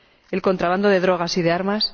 el contrabando de drogas y de armas